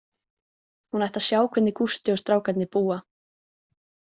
Hún ætti að sjá hvernig Gústi og strákarnir búa.